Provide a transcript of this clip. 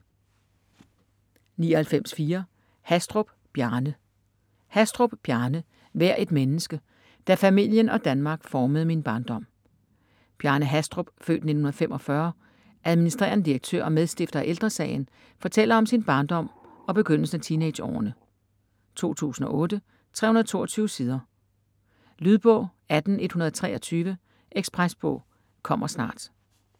99.4 Hastrup, Bjarne Hastrup, Bjarne: Vær et menneske : da familien og Danmark formede min barndom Bjarne Hastrup (f. 1945), adm. direktør og medstifter af Ældre Sagen, fortæller om sin barndom og begyndelsen af teenageårene. 2008, 322 sider. Lydbog 18123 Ekspresbog - kommer snart